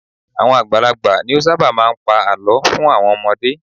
Àwọn àgbàlagbà ni ó ṣábà máà ń pa àlọ́ fún àwọn ọmọdé.